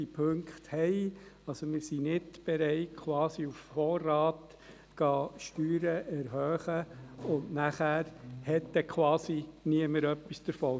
Wir sind nicht bereit, die Steuern quasi auf Vorrat zu erhöhen, wenn dann niemand etwas davon hat.